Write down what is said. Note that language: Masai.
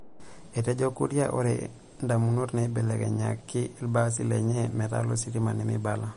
Etejo Kuria ore indamunot naibelekenyiaki ilbaasi lenye metaa lositima nemeibala.